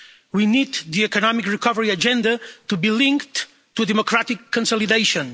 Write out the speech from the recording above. We need the economic recovery agenda to be linked to democratic consolidation.